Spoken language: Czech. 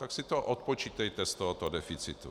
Tak si to odpočítejte z tohoto deficitu.